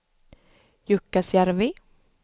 Jukkasjärvi